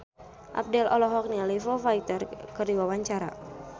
Abdel olohok ningali Foo Fighter keur diwawancara